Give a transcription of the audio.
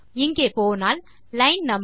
இங்கே போனால் line no